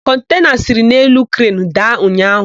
Kọntena siri n'elu krenu daa ụnyaahụ.